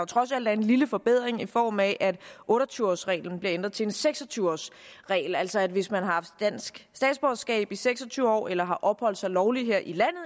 trods alt er en lille forbedring i form af at otte og tyve års reglen bliver ændret til en seks og tyve års regel altså hvis man har haft dansk statsborgerskab i seks og tyve år eller har opholdt sig lovligt her i